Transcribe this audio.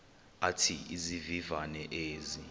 athi izivivane ezi